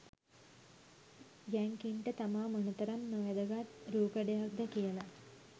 යැංකින්ට තමා මොනතරම් නොවැදගත් රූකඩයක්ද කියල